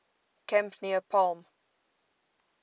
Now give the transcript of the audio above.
camp near palm